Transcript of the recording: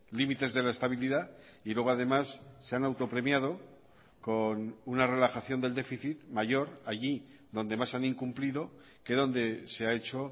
límites de la estabilidad y luego además se han autopremiado con una relajación del déficit mayor allí donde más han incumplido que donde se ha hecho